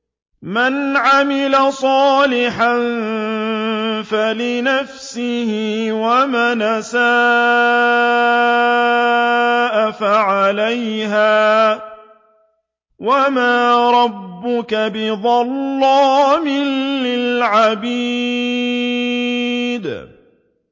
مَّنْ عَمِلَ صَالِحًا فَلِنَفْسِهِ ۖ وَمَنْ أَسَاءَ فَعَلَيْهَا ۗ وَمَا رَبُّكَ بِظَلَّامٍ لِّلْعَبِيدِ